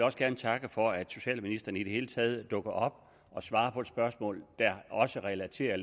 også gerne takke for at socialministeren i det hele taget dukker op og svarer på et spørgsmål der også relaterer